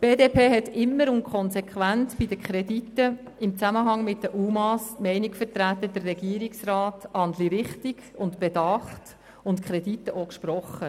Die BDP hat immer und konsequent bei den Krediten im Zusammenhang mit den UMA die Meinung vertreten, der Regierungsrat handle richtig und bedacht und hat die Kredite dementsprechend auch gesprochen.